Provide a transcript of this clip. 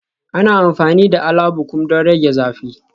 Ana amfani da Alabukun don rage zafi